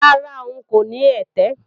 Rárá, ń kò ní ẹ̀tẹ̀